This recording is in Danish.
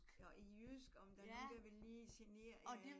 Og I jysk om der er nogen der ville lige generere jer eller